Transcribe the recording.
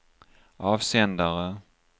avsändare